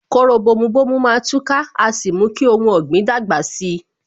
Kóró bomu bomu má tú ká, a sì mú kí ohun ọ̀gbìn dàgbà si